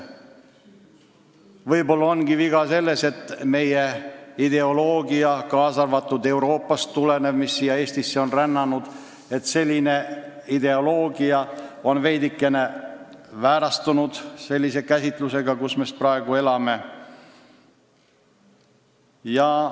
Võib-olla on viga selles, et meie ideoloogia, mis on siia ka Euroopast tulnud, mis on siia Eestisse rännanud, on veidike väärastunud – see käsitlus, mille järgi me praegu elame.